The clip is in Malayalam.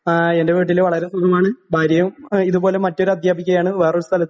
ആ എൻ്റെ വീട്ടില് വളരെ സുഖമാണ് ഭാര്യയും ആ ഇതുപോലെ മറ്റൊരധ്യാപികയാണ് വേറൊരു സ്ഥല